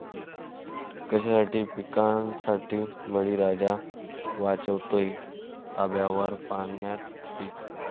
कशासाठी पिकांसाठी, बळीराजा वाचवतोय तांब्याभर पाण्यानं पिकं!